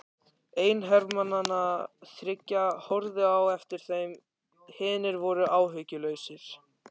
Einn hermannanna þriggja horfði á eftir þeim, hinir voru áhugalausir.